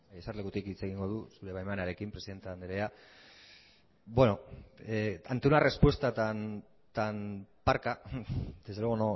eserlekutik hitz egingo dut zure baimenarekin presidente andrea bueno ante una respuesta tan parca desde luego